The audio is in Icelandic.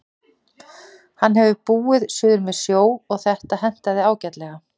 Hann hefur búið suður með sjó og þetta hentaði ágætlega.